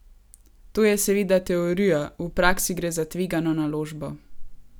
To je seveda teorija, v praksi gre za tvegano naložbo.